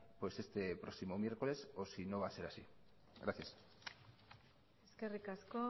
pues este próximo miércoles o si no va a ser así gracias eskerrik asko